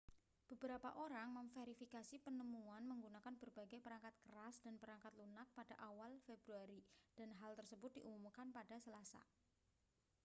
beberapa orang memverifikasi penemuan menggunakan berbagai perangkat keras dan perangkat lunak pada awal februari dan hal tersebut diumumkan pada selasa